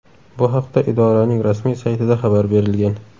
Bu haqda idoraning rasmiy saytida xabar berilgan .